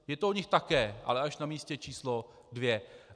Je to o nich také, ale až na místě číslo dvě.